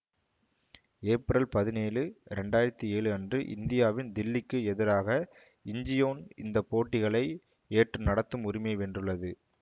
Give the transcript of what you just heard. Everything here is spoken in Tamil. ஏப்ரல் பதினேழு இரண்டு ஆயிரத்தி ஏழு அன்று இந்தியாவின் தில்லிக்கு எதிராக இஞ்சியோன் இந்த போட்டிகளை ஏற்று நடத்தும் உரிமையை வென்றுள்ளது